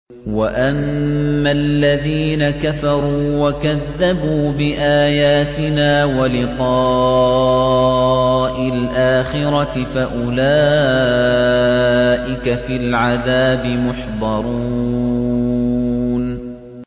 وَأَمَّا الَّذِينَ كَفَرُوا وَكَذَّبُوا بِآيَاتِنَا وَلِقَاءِ الْآخِرَةِ فَأُولَٰئِكَ فِي الْعَذَابِ مُحْضَرُونَ